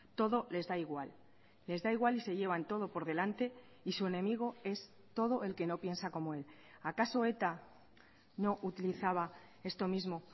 todo les da igual les da igual y se llevan todo por delante y su enemigo es todo el que no piensa como él acaso eta no utilizaba esto mismo